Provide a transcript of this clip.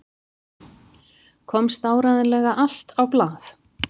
Komst áreiðanlega allt á blað?